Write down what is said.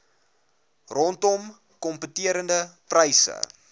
rondom kompeterende pryse